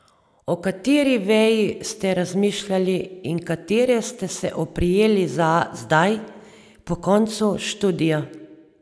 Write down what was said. O kateri veji ste razmišljali in katere ste se oprijeli zdaj, po koncu študija?